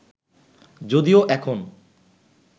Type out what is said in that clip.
যদিও এখন